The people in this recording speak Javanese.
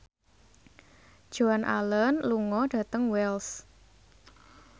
Joan Allen lunga dhateng Wells